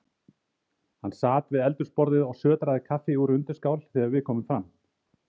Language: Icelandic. Hann sat við eldhúsborðið og sötraði kaffi úr undirskál þegar við komum fram.